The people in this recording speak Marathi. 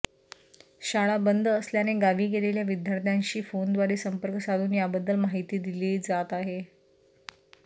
शाळा बंद असल्याने गावी गेलेल्या विद्यार्थ्यांशी फोनद्वारे संपर्क साधून याबद्दल माहिती दिली जात आहे